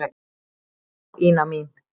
Já, Ína mín.